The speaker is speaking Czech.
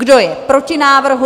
Kdo je proti návrhu?